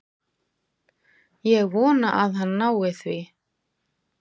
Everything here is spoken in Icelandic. Ég vona að hann nái því.